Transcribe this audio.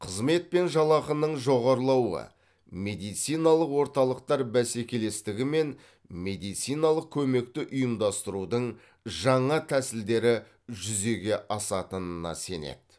қызмет пен жалақының жоғарылауы медициналық орталықтар бәсекелестігі мен медициналық көмекті ұйымдастырудың жаңа тәсілдері жүзеге асатынына сенеді